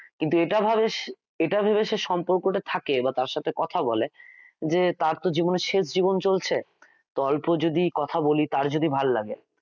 কিন্তু এটা ভাবে এটা ভেবে সে সম্পর্কটা থাকে বা তার সাথে কথা বলে যে তার তো জবনের শেষ জীবন চলছে তো অল্প যদি কথা বলি তার যদি ভালো লাগে,